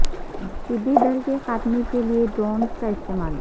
ٹڈی دل کے خاتمے کے لیے ڈرونز کا استعمال